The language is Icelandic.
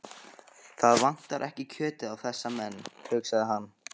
Það vantar ekki kjötið á þessa menn, hugsaði hann.